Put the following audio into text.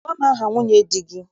Gwa m aha nwunye di gị!